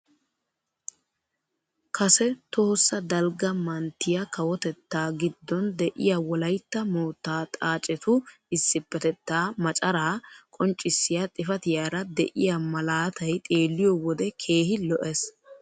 Kase tohossa dalgga manttiyaa kawotettaa giddon de'iyaa wolaytta moottaa xaacetu isipetettaa macaraa qonccisiyaa xifatiyaara de'iyaa malatay xeelliyoo wode keehi lo"ees.